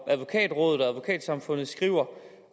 advokatrådet og advokatsamfundet skriver